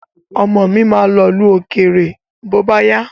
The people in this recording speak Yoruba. Ọmọ mi ma lọ̀lú òkèrè bóbáyá.